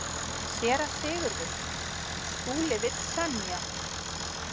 SÉRA SIGURÐUR: Skúli vill semja.